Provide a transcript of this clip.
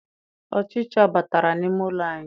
Ọchicha batara n'ime ụlọ anyị.